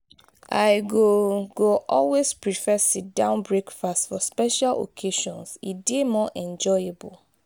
i go go always prefer sit-down breakfast for special occasions; e dey more enjoyable.